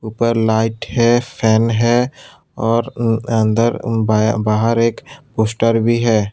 ऊपर लाइट है फैन है और ऊं अंदर बै बाहर एक पोस्टर भी है।